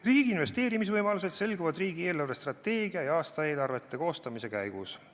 Riigi investeerimisvõimalused selguvad riigi eelarvestrateegia ja aastaeelarvete koostamise käigus.